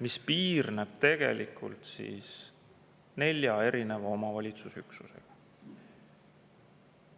mis piirneb nelja omavalitsusüksusega.